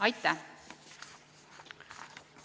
Aitäh!